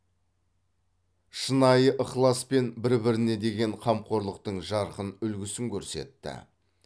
шынайы ықылас пен бір біріне деген қамқорлықтың жарқын үлгісін көрсетті